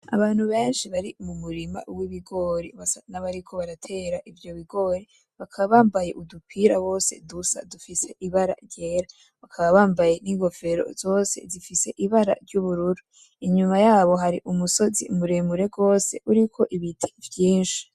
Abantu benshi bari mumurima w'ibigori basa nabariko baratera ivyo bigori, bakaba bambaye udupira bose dusa dufise ibara ryera, bakaba bambaye n'inkofero zose zifise ibara ry'ubururu, inyuma yabo hari umusozi muremure gose uriko ibiti vyinshi.